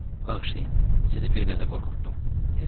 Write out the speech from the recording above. Bağışlayın, sizi bir qədər qorxutdum, dedi.